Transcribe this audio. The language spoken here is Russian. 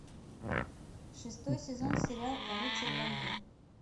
шестой сезон сериал рыцарь вампир